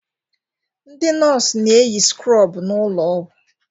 Ndị nọọsụ na-eyi skrobụ n'ụlọ ọgwụ.